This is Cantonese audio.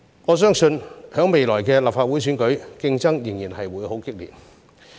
我相信在未來的立法會選舉，競爭仍然會很激烈。